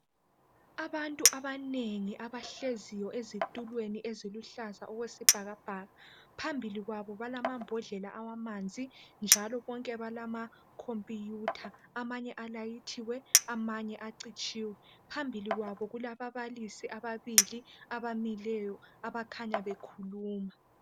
Abantu abanengi abahleziyo ezitulweni eziluhlaza okwesibhakabhaka. Phambili kwabo balamambodlela awamanzi njalo bonke balamacompuyutha amanye alayithiwe amanye acitshiwe phambili kwabo kulababalisi ababili abamileyo abakhanya bekhuluma.